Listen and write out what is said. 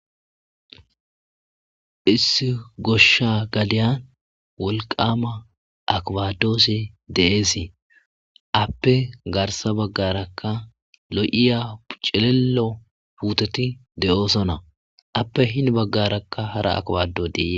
issi goshsha galiyan wolqama akbadoosi deeesi appe garsa baggarakka lo7iya pucilelo puuteti de7oosonna appe hin baggarakka hara akbado diee